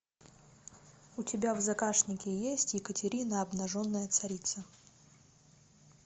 у тебя в загашнике есть екатерина обнаженная царица